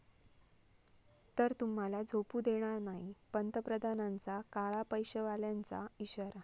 ...तर तुम्हाला झोपू देणार नाही, पंतप्रधानांचा काळा पैशावाल्यांना इशारा